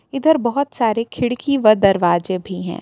इधर बहुत सारे खिड़की व दरवाजे भी हैं।